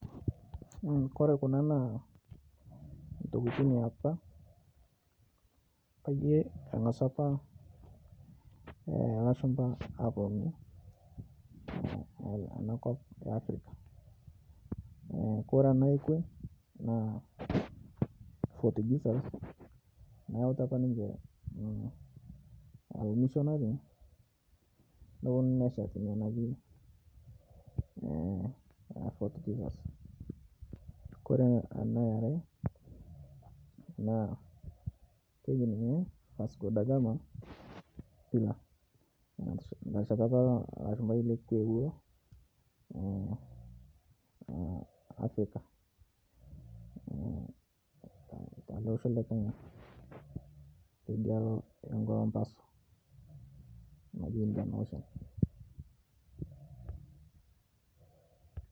Kore kuna naantokitin eapa payie engasu apa lashumba aponu anakop efirika, Kore ana ekwe naa fort Jesus nayeuta apa ninche lmishonari noponu neshet nia naji Fort Jesus, Kore ana aare naa keji ninye Vasco da gama pillar netesheta apa ilo lashumbai lekwe loewuo afirika teleosho le Kenya tedialo embaso naji indian ocean.